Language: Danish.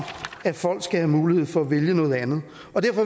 at folk skal have mulighed for at vælge noget andet